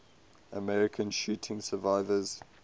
american shooting survivors